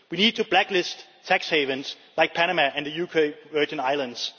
We need to blacklist tax havens like Panama and the UK Virgin Islands.